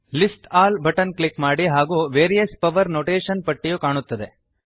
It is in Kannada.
ಲಿಸ್ಟ್ ಆಲ್ ಬಟನ್ ಕ್ಲಿಕ್ ಮಾಡಿ ಹಾಗೂ ವೇರಿಯಸ್ ಪವರ್ ನೊಟೇಷನ್ ಪಟ್ಟಿಯು ಕಾಣುತ್ತದೆ